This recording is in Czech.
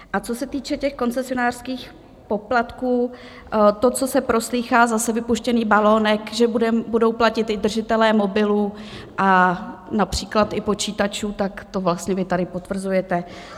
A co se týče těch koncesionářských poplatků, to, co se proslýchá, zase vypuštěný balonek, že budou platit i držitelé mobilů a například i počítačů, tak to vlastně vy tady potvrzujete.